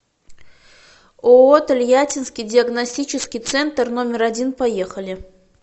ооо тольяттинский диагностический центр номер один поехали